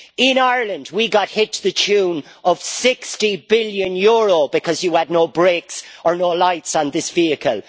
In Ireland, we got hit the tune of EUR 60 billion because you had no brakes or no lights on this vehicle.